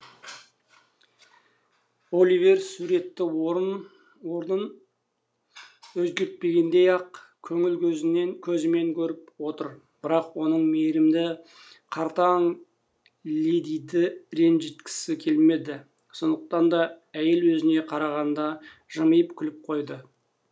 оливер суретті орнын өзгертпегендей ақ көңіл көзімен көріп отыр бірақ оның мейірімді қартаң ледиді ренжіткісі келмеді сондықтан да әйел өзіне қарағанда жымиып күліп қойды